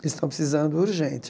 Eles estão precisando, urgente.